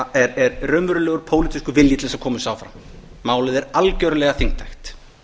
er raunverulegur pólitískur vilji til þess að koma þessu áfram málið er algjörlega þingtækt